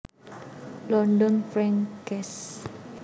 London Frank Cass